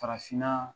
Farafinna